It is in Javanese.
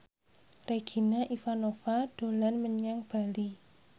Regina Ivanova dolan menyang Bali